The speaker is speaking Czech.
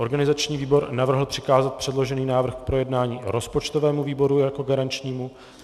Organizační výbor navrhl přikázat předložený návrh k projednání rozpočtovému výboru jako garančnímu.